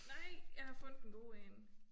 Nej jeg har fundet en god én